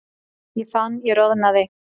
Ég fann ég roðnaði.